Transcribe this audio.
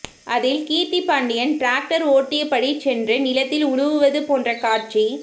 அதில் கீர்த்தி பாண்டியன் டிராக்டர் ஓட்டியபடி சென்று நிலத்தில் உழுவது போன்ற காட்சி